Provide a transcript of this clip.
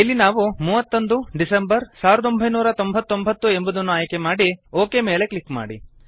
ಇಲ್ಲಿ ನಾವು 31 ಡೆಕ್ 1999 ಎಂಬುದನ್ನು ಆಯ್ಕೆಮಾಡಿ ಒಕ್ ಮೇಲೆ ಕ್ಲಿಕ್ ಮಾಡಿ